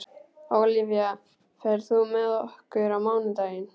Ólafía, ferð þú með okkur á mánudaginn?